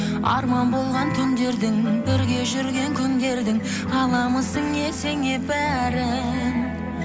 арман болған түндердің бірге жүрген күндердің аламысың есіңе бәрін